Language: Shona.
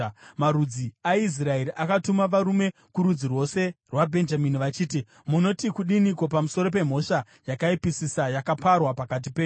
Marudzi aIsraeri akatuma varume kurudzi rwose rwaBhenjamini, vachiti, “Munoti kudiniko pamusoro pemhosva yakaipisisa yakaparwa pakati penyu?